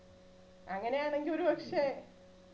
അങ്ങനെയാണെങ്കിൽ ഒരുപക്ഷെ